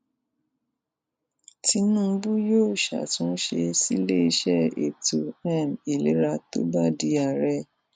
tinúbú yóò ṣàtúnṣe ṣíléeṣẹ ètò um ìlera tó bá di àárẹ